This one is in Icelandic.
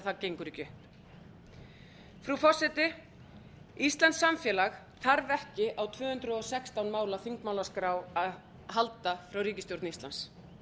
það gengur ekki upp frú forseti íslenskt samfélag þarf ekki á tvö hundruð og sextán mála þingmálaskrá að halda frá ríkisstjórn íslands